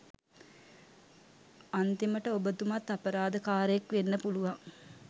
අන්තිමට ඔබතුමත් අපරාධකාරයෙක් වෙන්න පුළුවන්